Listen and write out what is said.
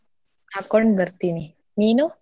ಹಾಕ್ಕೊಂಡ್ ಬರ್ತೀನಿ ನೀನು?